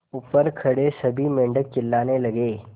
ऊपर खड़े सभी मेढक चिल्लाने लगे